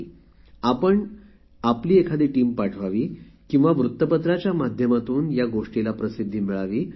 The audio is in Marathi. मला असे म्हणायचे आहे की आपण एखादा समुह किंवा न्युज पेपरच्या माध्यमातून या गोष्टीला उजेडात आणावे